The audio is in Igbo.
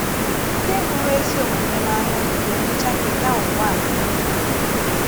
Ndị hụrụ ezí omume n’ànya ga - emechá kètà ụwà a niile.